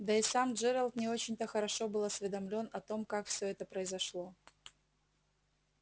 да и сам джералд не очень-то хорошо был осведомлён о том как всё это произошло